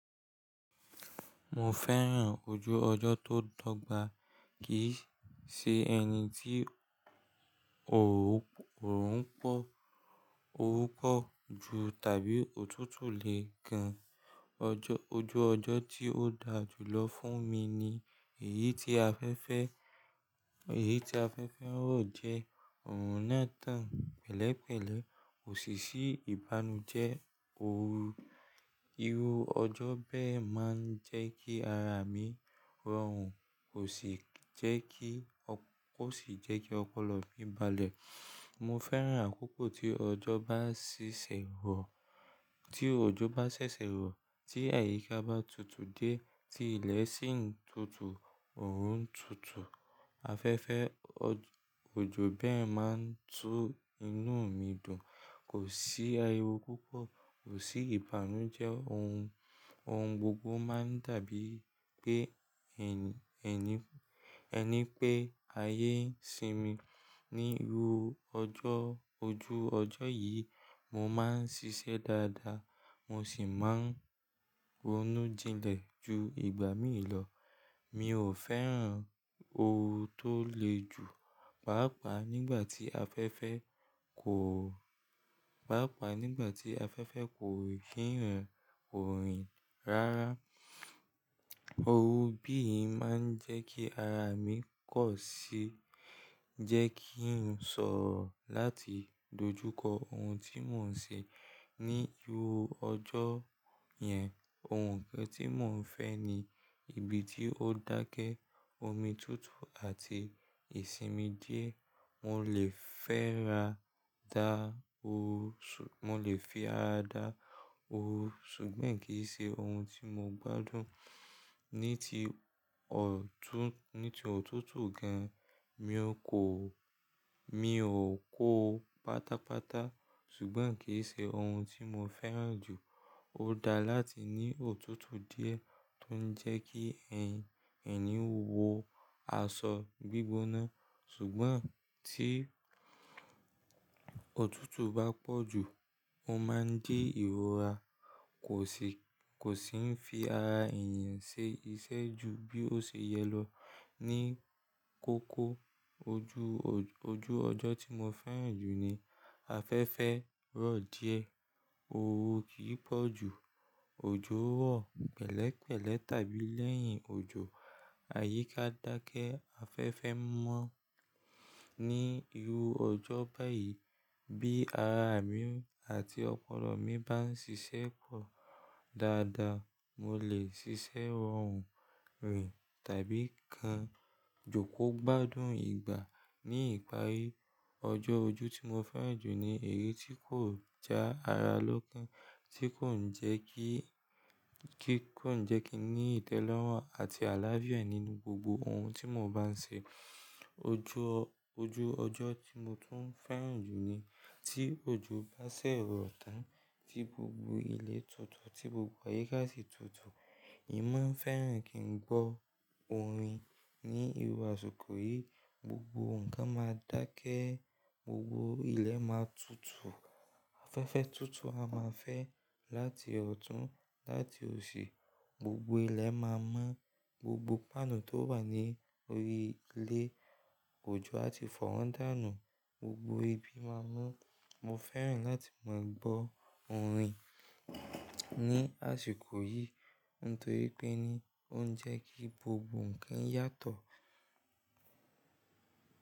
Mo fẹ́ràn ojú ọjọ́ tó dọ́gba, kì í ṣe ẹni tí òórùn pọ̀, orú pọ́ ju tàbí òtútù lè gan. Ọjọ́, ojú ọjọ́ tí ó da jùlọ fún mi ni èyí tí afẹ́fẹ́, èyí tí afẹ́fẹ́ rọ̀ jẹ́ òórùn náà tán pẹ̀lẹ́pẹ̀lẹ́, òṣìṣí ìbànújẹ́, òórùn, irú ọjọ́ bẹ́ẹ̀ máa ń jẹ́ kí ara mi rọrùn kò sì jẹ́ kí, kò sì jẹ́ kí ọpọlọ mi balẹ̀. Mo fẹ́ràn àkókò tí ọjọ́ bá ṣẹ̀ṣẹ̀ rọ̀, tí òjò bá ṣẹ̀ṣẹ̀ rọ̀, tí àyíká bá tutù diẹ, tí ilẹ̀ sì ń tutù, òórùn ń tutù, afẹ́fẹ́, òjò bẹ́ẹ̀ máa ń tú inú mi dùn, kò sí ariwo púpọ̀, kò sí ìbànújẹ́, ohun, ohun gbogbo máa ń dàbí pé ẹni, ẹni, ẹni pé ayé ń sinmi. Ní irú ọjọ́, ojú ọjọ́ yìí, mo máa ń ṣiṣẹ́ dáadáa, mo sì máa ń ronú jinlẹ̀ ju ìgbà míì lọ. Mi ò fẹ́ràn orun tó le jù, pàápàá nígbà tí afẹ́fẹ́ kò, pàápàá nígbà tí afẹ́fẹ́ kò fi hàn orin ráárá. Ohun bí ì máa ń jẹ́ kí ara mi kọ̀ sí, jẹ́ kí n sọ̀rọ̀ láti dojúkọ ohun tí mò ń ṣe. Ní irú ọjọ́ yẹn, ohun kan tí mò ń fẹ́ ni ibi tí ó dákẹ́, omi tutù àti ìsinmi díẹ̀. Mo lè fẹ́ ra dá ó, mo lè fi á dá ó ṣùgbọ́n kì í ṣe ohun tí mo gbádùn. Ní ti ọ̀tún, ní ti ọ̀tútù gan, mi ò kó o, mi ò kó o pátápátá ṣùgbọ́n kì í ṣe ohun tí mo fẹ́ràn jù. Ó dáa láti ní òtútù díẹ̀ tó ń jẹ́ kí ẹni, ẹni wo aṣọ gbígbóná ṣùgbọ́n tí òtútù bá pọ̀ ju, ó máa ń di ìrora kò sì, kò sì ń fi ara èèyàn ṣe iṣẹ́ ju bí ó ṣe yẹ lọ. Ní kókó ojú ọ̀, ojú ọjọ́ tí mo fẹ́ràn jù ni afẹ́fẹ́ rọ̀ díẹ̀, òórùn kì í pọ̀ ju, òjò rọ̀ pẹ̀lẹ́pẹ̀lẹ́ tàbí lẹ́yìn òjò, àyíká dákẹ́, afẹ́fẹ́ mọ́. Ní irú ọjọ́ bá yìí bí ara mi àti ọpọlọ mi bá ń ṣiṣẹ́ pọ̀ dáadáa, mo lè ṣiṣẹ́ rọrùn rè tàbí kan jòkó gbádùn ìgbà. Ní ìparí ọjọ́, ojú tí mo fẹ́ràn jù ni èyí tí kò já ara lókin, tí kò ń jẹ́ kí, kí kò ń jẹ́ kí n ní ìtẹ́lọ́rùn àti àlàáfíà nínú gbogbo ohun tí mo bá ń ṣe. Ojú ọ̀, ojú ọjọ́ tí mo tún fẹ́ràn jù ni tí òjò bá ṣẹ̀ rọ̀ tán, tí gbogbo ilẹ̀ tutù, tí gbogbo àyíká sì tutù. Èmi máa ń fẹ́ràn kí n gbọ́ orin ní irú àsìkò yìí. Gbogbo nǹkan máa dákẹ́, gbogbo ilẹ̀ máa tutù, afẹ́fẹ́ tutù, a máa fẹ́ láti ọ̀tún láti òsì, gbogbo ilẹ̀ máa mọ́, gbogbo páànù tó wà ní orí ile òjò a ti fọ́ wọn dànù, gbogbo ibi máa mọ́. Mo fẹ́ràn láti máa gbọ́ orin ní àsìkò yìí nítorí pé ni ó ń jẹ́ kí gbogbo nǹkan yàtọ̀.